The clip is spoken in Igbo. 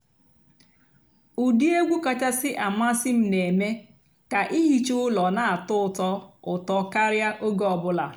ụ́dị́ ègwú kàchàsị́ àmásị́ m nà-èmée kà ìhìchá ụ́lọ́ nà-àtọ́ ụ́tọ́ ụ́tọ́ kàríá óge ọ̀ bụ́là.